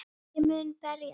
Ég mun berjast